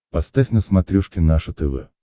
поставь на смотрешке наше тв